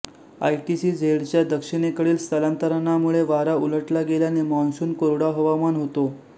आयटीसीझेडच्या दक्षिणेकडील स्थलांतरणामुळे वारा उलटला गेल्याने मॉन्सून कोरडा हवामान होतो